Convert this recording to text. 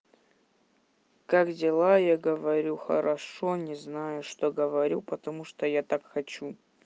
как дела я говорю хорошо не знаю что говорю потому что я так хочу